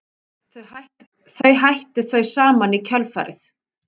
Þau hættu þau saman í kjölfarið